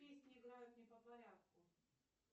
песни играют не по порядку